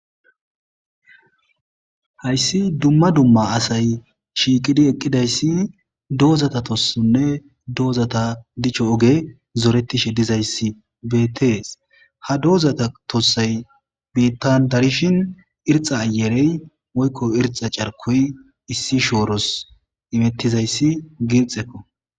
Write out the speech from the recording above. hayssi dumma dumma asay shiiqidi eqqidayssi doozata tossonne doozata dicho oge zoretishe dizayssi bettees ha dozata tossay biittan darishin irxa ayerey woykko irxa carkoy issi shooros imettizayssi girxekko